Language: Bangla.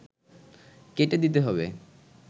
কেটে দিতে হবে